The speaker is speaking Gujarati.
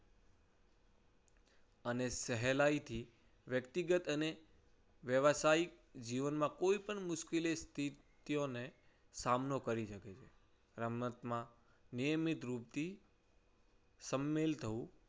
અને સહેલાઈથી વ્યક્તિગત અને વ્યવસાયિક જીવનમાં કોઈપણ મુશ્કેલ સ્થિતિઓને સામનો કરી શકે છે. રમતમાં નિયમિત રૂપથી સામેલ થવું